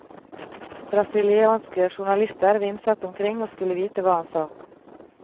Brasilianske journalister vimset omkring og skulle vite hva han sa.